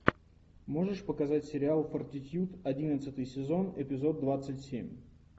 можешь показать сериал фортитьюд одиннадцатый сезон эпизод двадцать семь